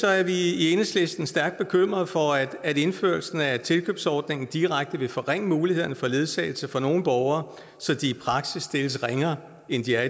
er vi i enhedslisten stærkt bekymrede for at indførelsen af tilkøbsordningen direkte vil forringe mulighederne for ledsagelse for nogle borgere så de i praksis stilles ringere end de er